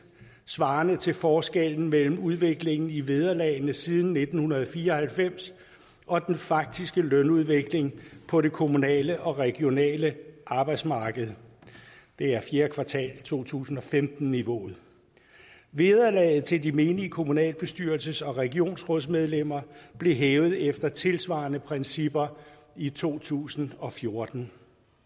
svarende til forskellen mellem udviklingen i vederlagene siden nitten fire og halvfems og den faktiske lønudvikling på det kommunale og regionale arbejdsmarked det er fjerde kvartal to tusind og femten niveauet vederlaget til de menige kommunalbestyrelses og regionsrådsmedlemmer blev hævet efter tilsvarende principper i to tusind og fjorten